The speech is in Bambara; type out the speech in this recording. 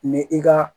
Ni i ka